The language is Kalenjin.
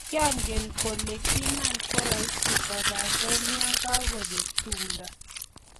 kiangen kole kimakorahisi kobate ya kikabek tumdo